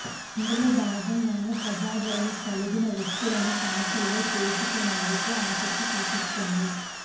అందులో భాగంగానే ప్రజాదరణ కలిగిన వ్యక్తులను పార్టీలో చేర్చుకునేందుకు ఆసక్తి చూపిస్తోంది